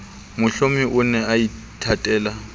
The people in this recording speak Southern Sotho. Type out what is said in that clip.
mohlomi o ne a ithatela